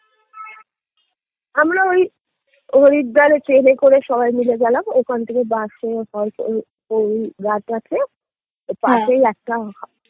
আমরা ওই হরিদ্বারে train এ করে সবাই মিলে গেলাম ওখানে থেকে bus এ পাশেই একটা